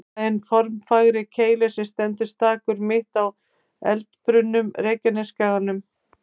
Er það hinn formfagri Keilir sem stendur stakur, mitt á eldbrunnum Reykjanesskaganum.